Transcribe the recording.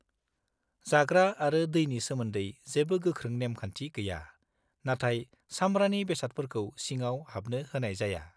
-जाग्रा आरो दैनि सोमोन्दै जेबो गोख्रों नेम-खान्थि गैया, नाथाय सामब्रानि बेसादफोरखौ सिङाव हाबनो होनाय जाया।